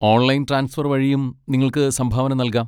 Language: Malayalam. ഓൺലൈൻ ട്രാൻസ്ഫർ വഴിയും നിങ്ങൾക്ക് സംഭാവന നൽകാം.